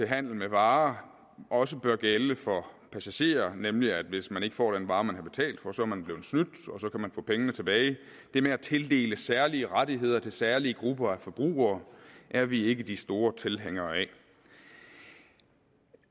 handel med varer også bør gælde for passagerer nemlig at hvis man ikke får den vare man har betalt for så er man blevet snydt og så kan man få pengene tilbage det med at tildele særlige rettigheder til særlige grupper af forbrugere er vi ikke de store tilhængere af